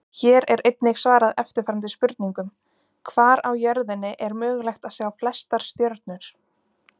Hér er einnig svarað eftirfarandi spurningum: Hvar á jörðinni er mögulegt að sjá flestar stjörnur?